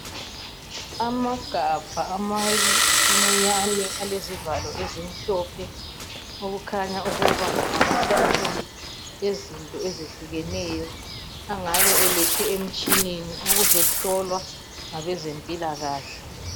Amagabha amancinyane alezivalo ezimhlophe okukhanya ukuba ngamasampulu ezinto ezehlukeneyo angabe alethwe emitshineni ukuzohlolwa ngabezempilakahle.